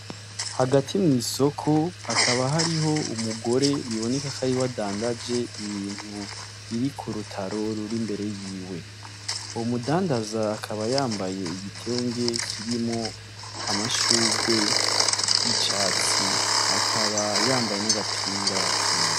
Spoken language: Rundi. Hagati mw'isoko, hakaba hariho umugore biboneka ko ariwe adandaje ibintu biri kurutaro ruri imbere y'iwe. Uwo mudandaza akaba yambaye igitenge kirimwo amashurwe y'icatsi. Akaba yambaye n'agapira kera.